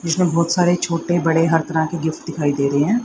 जिसमे बहोत सारे छोटे बड़े हर तरह के गिफ्ट दिखाई दे रहे हैं।